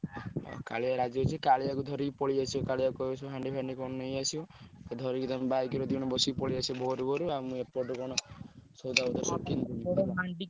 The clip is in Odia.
ହଁ କାଳିଆ ରାଜି ଅଛି କାଳିଆକୁ ଧରି ପଳେଇଆସିବ କାଳିଆକୁ କହିବ ସେ ହାଣ୍ଡି ଫାଣ୍ଡି କଣ ନେଇଆସିବ। ଧରିକି ତମେ bike ରେ ଦି ଜଣ ବସିକି ପଳେଇଆସିବ ଭୋରୁ ଭୋରୁ ଆଉ ମୁଁ ଏପୁଟୁ କଣ ସଉଦା ପତ୍ର ସବୁ କିଣିଦେବି।